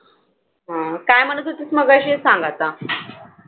हम्म काय म्हणत होतीस मगाशी सांग आता.